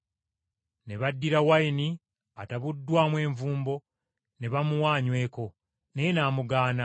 Ne baddira wayini atabuddwamu envumbo ne bamuwa anyweko, naye n’amugaana.